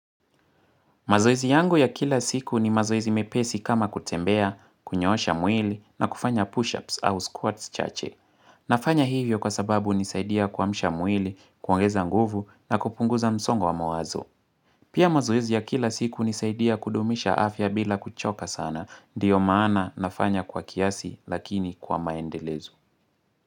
Mazoezi yangu ya kila siku ni mazoezi mepesi kama kutembea, kunyoosha mwili na kufanya push-ups au squats chache. Nafanya hivyo kwa sababu unisaidia kuamsha mwili, kuongeza nguvu na kupunguza msongo wa mawazo. Pia mazoizi ya kila siku nisaidia kudumisha afya bila kuchoka sana. Ndiyo maana nafanya kwa kiasi lakini kwa maendelezo.